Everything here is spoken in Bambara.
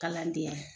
Kalanden